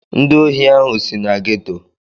Ndị ohi ahụ si na gétò